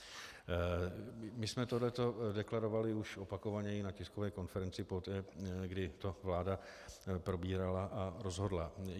My jsme tohle deklarovali už opakovaně i na tiskové konferenci poté, kdy to vláda probírala a rozhodla.